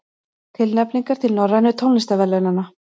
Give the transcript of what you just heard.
Tilnefningar til Norrænu tónlistarverðlaunanna